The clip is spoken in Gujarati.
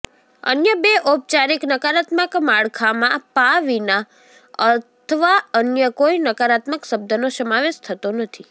અન્ય બે ઔપચારિક નકારાત્મક માળખાંમાં પા વિના અથવા અન્ય કોઇ નકારાત્મક શબ્દનો સમાવેશ થતો નથી